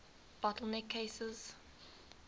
bottle neck cases